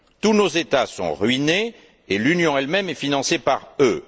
Tous nos États sont ruinés et l'Union elle même est financée par eux.